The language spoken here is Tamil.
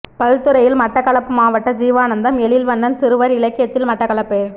பல்துறையில் மட்டக்களப்பு மாவட்ட ஜீவானந்தம் எழில்வண்ணன் சிறுவர் இலக்கியத்தில் மட்டக்களப்பு